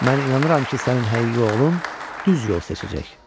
Mən inanıram ki, sənin həqiqi oğlun düz yol seçəcək.